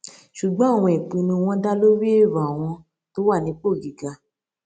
ṣùgbọn àwọn ìpinnu wọn dá lórí èrò àwọn tó wà nípò gíga